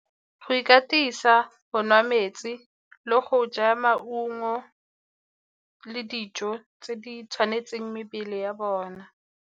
Go ikatisa, go nwa metsi le go ja maungo le dijo tse di tshwanetseng mebele ya bona.